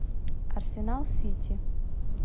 арсенал сити